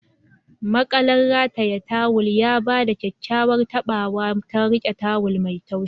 makalar rataye tawul ya ba da kyakkyawar taɓawa ta riƙe tawul masu laushi.